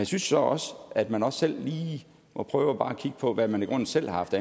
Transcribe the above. synes så også at man også selv lige må prøve at kigge på hvad man i grunden selv haft